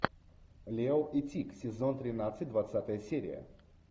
лео и тиг сезон тринадцать двадцатая серия